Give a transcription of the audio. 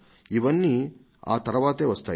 ఇవన్నీ ఆ తరువాతే వస్తాయి